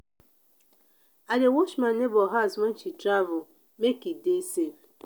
i dey watch my nebor house wen she travel make e dey safe.